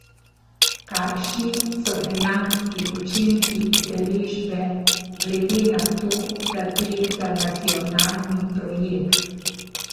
Kakšni so dejanski učinki udeležbe glede na to, da gre za nacionalni projekt?